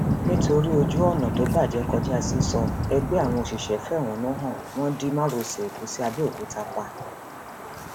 nítorí ojú ọnà tó bàjẹ kọjá sísọ ẹgbẹ àwọn òṣìṣẹ fẹhónú hàn wọn di márosẹ ẹkọ sí àbẹòkúta pa